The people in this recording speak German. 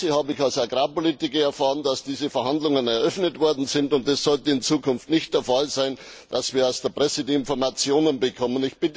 Aus der Presse habe ich als Agrarpolitiker erfahren, dass diese Verhandlungen eröffnet worden sind. Das sollte in Zukunft nicht der Fall sein, dass wir aus der Presse die Informationen bekommen.